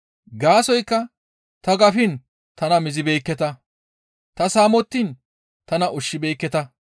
Gaasoykka ta gafiin tana mizibeekketa; ta saamettiin tana ushshibeekketa;